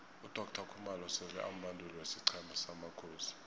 udoctor khumalo sele ambanduli wesiqhema samakhosi